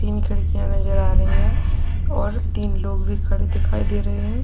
तीन खिड़कियां नजर आ रही हैं और तीन लोग भी खड़े दिखाई दे रहे हैं।